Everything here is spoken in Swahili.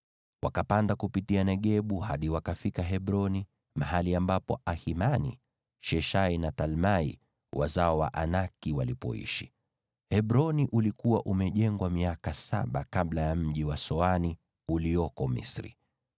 Wakapanda kupitia Negebu hadi wakafika Hebroni, mahali ambapo Ahimani, Sheshai na Talmai, wazao wa Anaki, waliishi. (Hebroni ulikuwa umejengwa miaka saba kabla ya mji wa Soani ulioko Misri.)